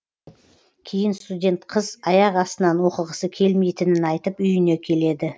кейін студент қыз аяқ астынан оқығысы келмейтінін айтып үйіне келеді